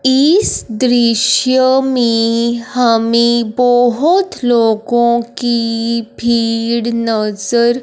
इस दृश्य में हमे बहोत लोगों की भीड़ नज़र --